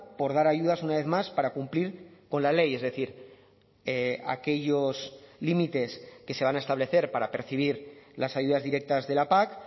por dar ayudas una vez más para cumplir con la ley es decir aquellos límites que se van a establecer para percibir las ayudas directas de la pac